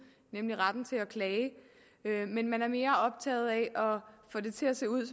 nemlig retten til at klage man er mere optaget af at få det til at se ud